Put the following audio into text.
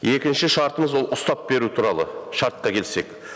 екінші шартымыз ол ұстап беру туралы шартқа келсек